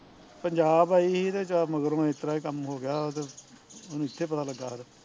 ਪੰਜਾਬ ਆਈ ਸੀ ਤੇ ਚਾਰ ਮਗਰੋਂ ਇਸ ਤਰਾ ਦਾ ਕੰਮ ਹੋਗਿਆ ਉਹਦੇ, ਉਹਨੂੰ ਇੱਥੇ ਪਤਾ ਲਗਾ ਆ ਕੇ